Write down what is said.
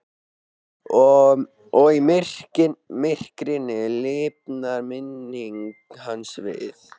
Og í myrkrinu lifnar minning hans við.